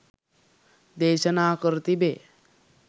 දේශනා කර තිබේ.